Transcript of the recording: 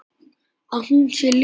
Að hún sé ljón.